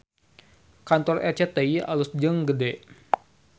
Kantor RCTI alus jeung gede